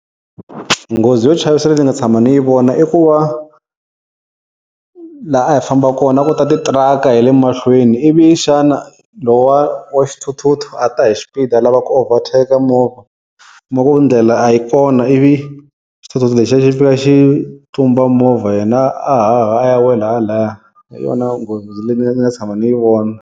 Nghozi yo chavisa leyi ni nga tshama ni yi vona i ku va laha a hi famba kona a ku ta titiraka hi le mahlweni ivi xana lowa wa xithuthuthu a ta hi xipidi a lava ku overtake movha u kuma ku ndlela a yi kona ivi xithuthuthu lexi xi va xi tlumba movha yena a haha a ya wela lahaya hi yona nghozi leyi mina ndzi nga tshama ni yi vona.